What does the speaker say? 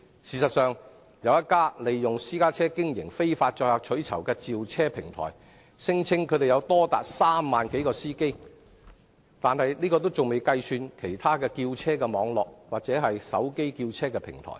事實上，有一家利用私家車經營非法載客取酬的召車平台，聲稱擁有3萬多名司機，這數目仍未計算其他召車網絡或手機召車平台。